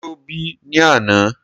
Ṣé ó bì ní àna?